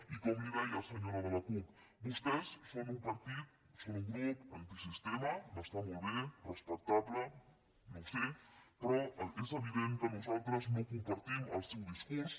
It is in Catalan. i com li deia senyora de la cup vostès són un partit són un grup antisistema m’està molt bé respectable no ho sé però és evident que nosaltres no compartim el seu discurs